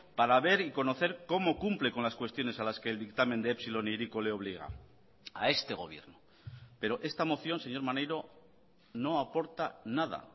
para ver y conocer cómo cumple con las cuestiones a las que el dictamen de epsilon e hiriko le obliga a este gobierno pero esta moción señor maneiro no aporta nada